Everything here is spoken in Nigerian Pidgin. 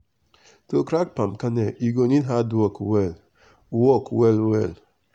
to crack palm kernel u go need hard work well work well well.